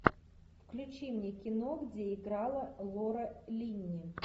включи мне кино где играла лора линни